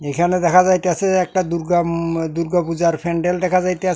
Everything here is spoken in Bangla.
এইখানে দেখা যাইতাসে একটা দূর্গা ম দূর্গা পূজার ফ্যান্ডেল দেখা যাইতা --